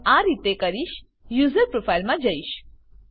હું આ રીતે કરીશ યુઝર પ્રોફાઈલમાં જઈશ